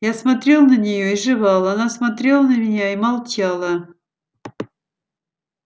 я смотрел на неё и жевал она смотрела на меня и молчала